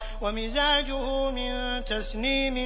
وَمِزَاجُهُ مِن تَسْنِيمٍ